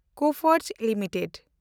Coforge limited